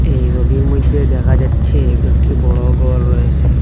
এই সোবির মইদ্যে দেখা যাচ্ছে কয়েকটি বড় গর রয়েসে।